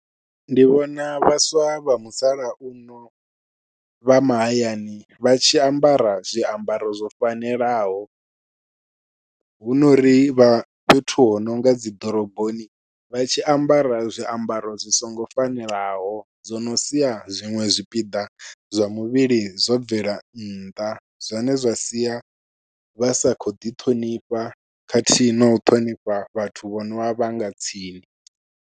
Ndi vhona vhaswa vha musalauno vha mahayani vha tshi ambara zwiambaro zwo fanelaho, hunori vha fhethu ho nonga dzi ḓoroboni vha tshi ambara zwiambaro zwi songo fanelaho zwo no sia zwiṅwe zwipiḓa zwa muvhili zwo bvela nnḓa, zwine zwa sia vha sa khou ḓi ṱhonifha khathihi nau ṱhonifha vhathu vho novha vhanga tsini.